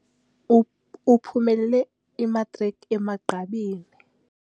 Uphumelele imatriki emagqabini.